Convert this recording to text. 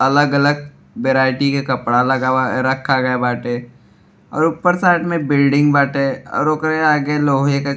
अलग अलग वैरायटी के कपड़ा लगावा रखा गवा बाटे और ऊपर साइड में बिल्डिंग बाटे और ओकरे आगे लोहे क --